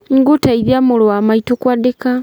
Nĩngũteithia mũrũ wa maitũ kwandĩka